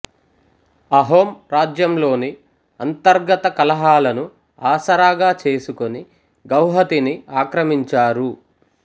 అహోం రాజ్యంలోని అంతర్గత కలహాలను ఆసరాగా చేసుకొని గౌహతిని ఆక్రమించారు